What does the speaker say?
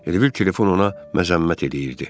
Elə bil telefon ona məzəmmət eləyirdi.